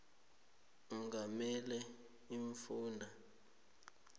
ongamele iimfunda ncop